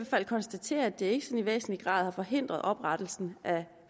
fald konstatere at det ikke i væsentlig grad har forhindret oprettelsen af